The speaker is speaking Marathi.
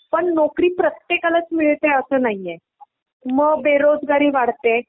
पण नोकरी प्रत्येकालाच मिळतेय असं नाहीये. मग बेरोजगारी वाढते